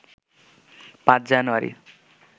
৫ জানুয়ারি